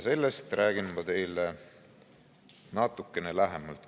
Sellest räägin ma teile natukene lähemalt.